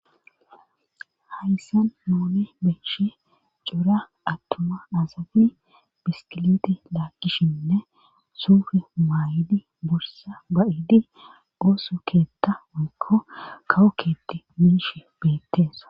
Hayssan moone beeshe cora attuma aasafi biskiliti laakkishinne suufe maayidi bursa ba7idi oosu keetta mikko kawokketi miish beetteesa.